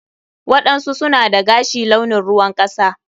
waɗansu suna dagashi launin ruwan kasa.